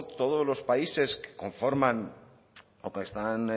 todos los países que conformar o que están